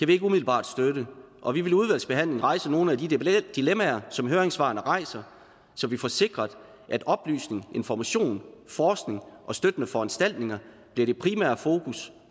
vi ikke umiddelbart støtte og vi vil i udvalgsbehandlingen rejse nogle af de dilemmaer som høringssvarene rejser så vi får sikret at oplysning information forskning og støttende foranstaltninger bliver det primære fokus